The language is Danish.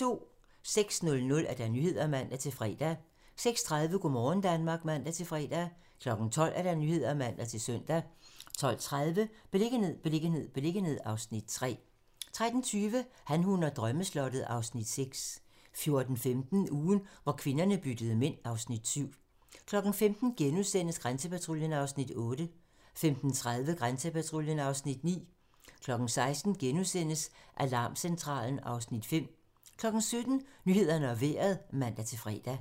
06:00: Nyhederne (man-fre) 06:30: Go' morgen Danmark (man-fre) 12:00: Nyhederne (man-søn) 12:30: Beliggenhed, beliggenhed, beliggenhed (Afs. 3) 13:20: Han, hun og drømmeslottet (Afs. 6) 14:15: Ugen, hvor kvinderne byttede mænd (Afs. 7) 15:00: Grænsepatruljen (Afs. 8)* 15:30: Grænsepatruljen (Afs. 9) 16:00: Alarmcentralen (Afs. 5)* 17:00: Nyhederne og Vejret (man-fre)